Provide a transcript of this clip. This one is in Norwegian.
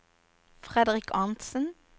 Fredrik Arntzen